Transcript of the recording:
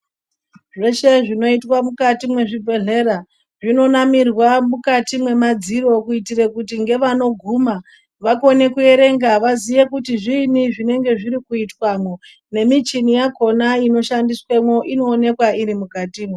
Zveshe zvinoitwa mukati mwezvibhedhlera zvinonamirwa mukati mwemadziro kuitire kuti ngevanoguma vakone kuyerenga vaziye kuti zviinyi zvinenge zviri kuitwamo nemichini yakhona ino shandiswemo inoonekwa iri mukatimo.